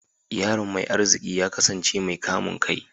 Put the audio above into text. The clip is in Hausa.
Yaron mai arziki ya kasance mai kamun kai